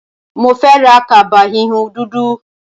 Mo fẹ́ ra kaba híhun dúdú.